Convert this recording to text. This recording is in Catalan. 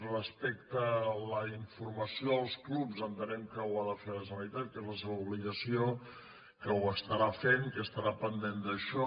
respecte a la informació als clubs entenem que ho ha de fer la generalitat que és la seva obligació que ho farà que estarà pendent d’això